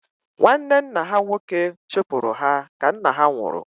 Nwanne nna ha nwoke chụpụrụ ha ka nna ha nwụrụ